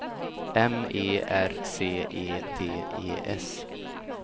M E R C E D E S